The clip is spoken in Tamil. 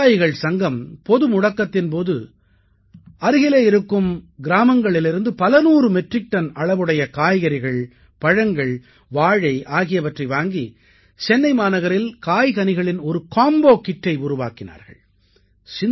இந்த விவசாயிகள் சங்கம் பொது முடக்கத்தின் போது அருகிலே இருக்கும் கிராமங்களிலிருந்து பலநூறு மெட்ரிக் டன் அளவுடைய காய்கறிகள் பழங்கள் வாழை ஆகியவற்றை வாங்கி சென்னை மாநகரில் காய்கனிகளின் ஒரு காம்போ kitஐ உருவாக்கினார்கள்